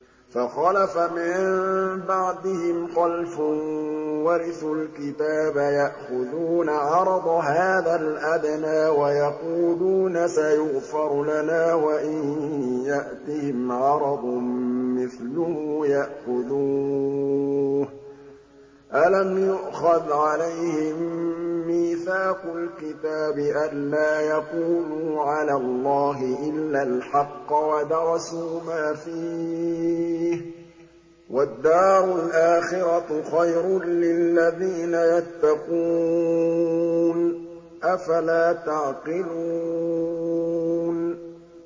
فَخَلَفَ مِن بَعْدِهِمْ خَلْفٌ وَرِثُوا الْكِتَابَ يَأْخُذُونَ عَرَضَ هَٰذَا الْأَدْنَىٰ وَيَقُولُونَ سَيُغْفَرُ لَنَا وَإِن يَأْتِهِمْ عَرَضٌ مِّثْلُهُ يَأْخُذُوهُ ۚ أَلَمْ يُؤْخَذْ عَلَيْهِم مِّيثَاقُ الْكِتَابِ أَن لَّا يَقُولُوا عَلَى اللَّهِ إِلَّا الْحَقَّ وَدَرَسُوا مَا فِيهِ ۗ وَالدَّارُ الْآخِرَةُ خَيْرٌ لِّلَّذِينَ يَتَّقُونَ ۗ أَفَلَا تَعْقِلُونَ